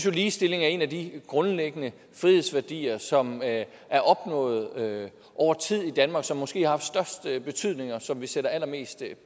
at ligestilling er en af de grundlæggende frihedsværdier som er er opnået over tid i danmark som måske har haft den største betydning og som vi sætter allermest